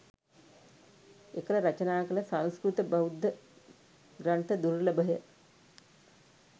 එකල රචනා කළ සංස්කෘත බෞද්ධ ග්‍රන්ථ දුර්ලභය.